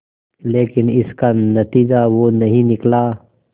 लेकिन इसका नतीजा वो नहीं निकला